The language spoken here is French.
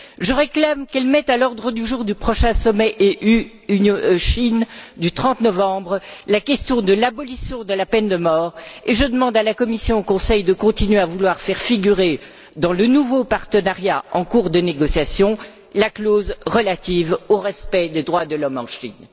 Je réclame qu'elle mette à l'ordre du jour du prochain sommet UE Chine du 30 novembre la question de l'abolition de la peine de mort, et je demande à la Commission et au Conseil de continuer à vouloir faire figurer dans le nouveau partenariat en cours de négociation la clause relative au respect des droits de l'homme en Chine.